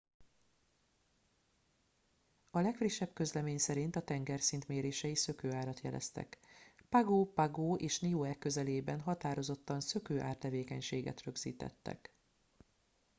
a legfrissebb közlemény szerint a tengerszint mérései szökőárat jeleztek pago pago és niue közelében határozottan szökőár tevékenységet rögzítettek